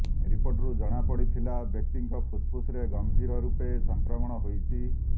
ରିପୋର୍ଟରୁ ଜଣାପଡ଼ିଥିଲା ବ୍ୟକ୍ତିଙ୍କ ଫୁସ୍ଫୁସରେ ଗମ୍ଭୀର ରୂପରେ ସଂକ୍ରମଣ ହୋଇଛି